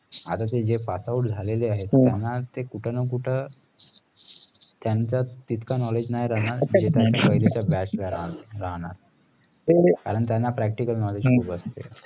आता जे जे passout झाले आहेत त्याना कुठं ना कुठं त्यांच्यात तितकं knowledge नाही राहणार तिथं batch नाही राहणार कारण त्याना practical knowledge खुप असते